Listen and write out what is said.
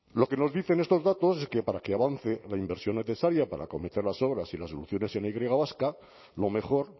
lo que nos dicen estos datos es que para que avance la inversión necesaria para acometer las obras y las soluciones en la y vasca lo mejor